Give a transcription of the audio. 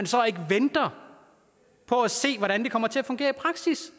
så ikke venter på at se hvordan det kommer til at fungere i praksis